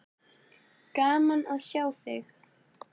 Gaman að sjá þig.